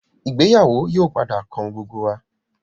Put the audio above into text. ìgbéyàwó yii o padà kan gbogbo wa.